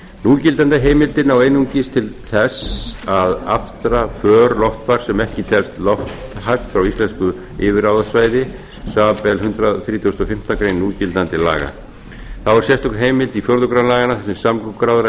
núgildandi heimildir ná einungis til þess að aftra för loftfars sem ekki telst lofthæft frá íslensku yfirráðasvæði samanber hundrað þrítugasta og fimmtu grein núgildandi laga þá er sérstök heimild í fjórða grein laganna þar sem samgönguráðherra